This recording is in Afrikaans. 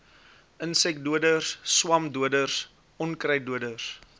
insekdoders swamdoders onkruiddoders